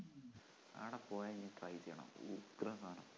അവിടെപ്പോയാ ഇനി try ചെയ്യണം ഉഗ്രൻ സാധനാ